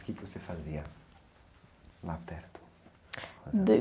O quê que você fazia lá perto?